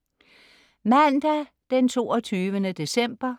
Mandag 22. december